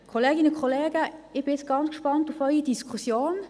Kolleginnen und Kollegen, ich bin sehr gespannt auf die Diskussion.